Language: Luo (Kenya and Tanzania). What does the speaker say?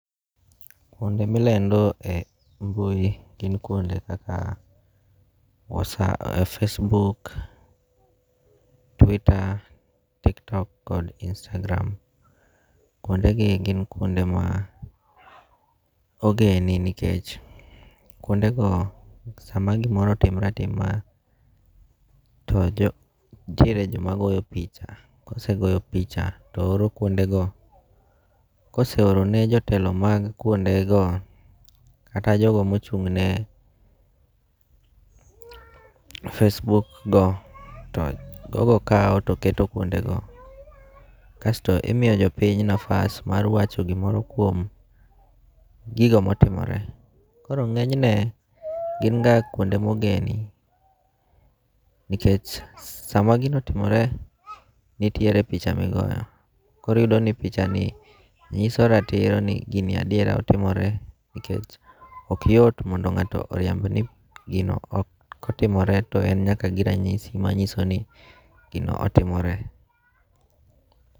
Kuonde milendoe e mbui gin kuonde kaka Facebook, twitter, TikTok kod Instagram, kuondegi gin kuonde ma ogeni nikech kuonde go sama gimoro otimre atima to nitiere joma goyo picha, kosegoyo picha, kosegoyo picha to oro kuondego koseorone jotelo mag kuondego kata jogo ma ochung'ne facebook go to jogo kau to keto kuondego, kasto imiyo jo piny nafas mar wacho gimoro kuomgigo motimore. koro nge'nyne gin ga kuonde mogeni nikech sama gino otimore nitiere picha migoyo koro iyudo ni pichani nyiso ratiro ni gini adiera otimore nikech okyot mondo nga'to oriemb ni gino ok otimore to en nyaka gi ranyisi ma nyiso ni gino otimore.